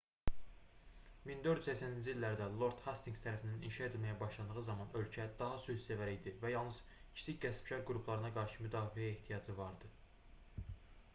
1480-ci illərdə lord hastinqs tərəfindən inşa edilməyə başlandığı zaman ölkə daha sülhsevər idi və yalnız kiçik qəsbkar qruplarına qarşı müdafiəyə ehtiyacı var idi